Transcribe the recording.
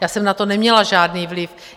Já jsem na to neměla žádný vliv.